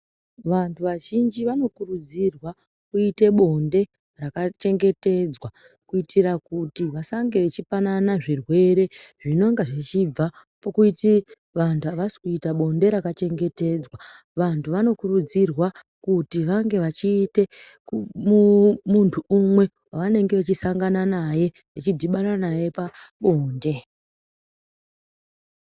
Vantu vazhinji vanokuridzirwa kuite bonde rakachengetedzwa kuitire kuti vasange veipanana zvirwere zvinenge zvichibva kuti vantu avasi kuita bonde rakachengetedzwa. Vantu vanokurudzirwa kuti vange vachiita muntu umwe wevanenge vachisangana naye vechidhibana naye pabonde.